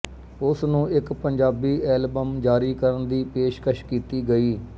ਉਸਨੂੰ ਇੱਕ ਪੰਜਾਬੀ ਐਲਬਮ ਜਾਰੀ ਕਰਨ ਦੀ ਪੇਸ਼ਕਸ਼ ਕੀਤੀ ਗਈ